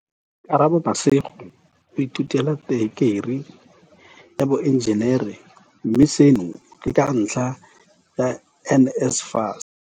Karabo Mashego o ithutela tekerii ya boenjenere, mme seno ke ka ntlha ya NSFAS.